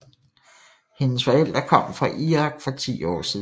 Hendes forældre kom fra Irak for 10 år siden